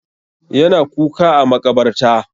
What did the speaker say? Ya na kuka a maƙabarta.